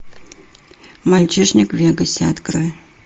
мальчишник в вегасе открой